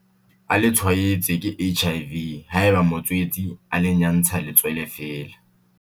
a le tshwaetswe ke HIV haeba motswetse a le nyantsha letswele feela.